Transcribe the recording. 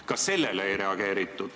Ka sellele ei reageeritud.